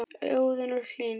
Óðinn og Hlín.